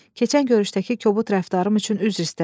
Keçən görüşdəki kobud rəftarım üçün üzr istədim.